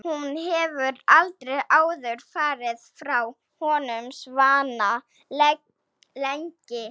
Hún hefur aldrei áður farið frá honum svona lengi.